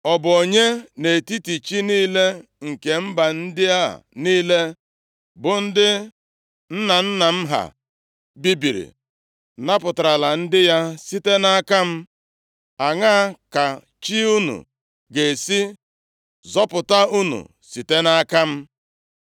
Ọ bụ onye nʼetiti chi niile nke mba ndị a niile, bụ ndị nna nna m ha bibiri, napụtarala ndị ya site nʼaka m? Aṅaa ka chi unu ga-esi zọpụta unu site nʼaka m?